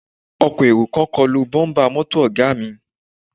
Ọkọ̀ èrò kan kọlu bọ́ḿbà mọ́tò Ọ̀ga mi